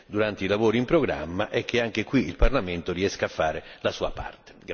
durante i lavori in programma e che anche qui il Parlamento riesca a fare la sua parte.